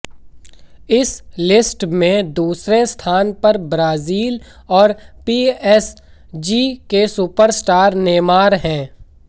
इस लिस्ट में दूसरे स्थान पर ब्राजील और पीएसजी के सुपरस्टार नेमार हैं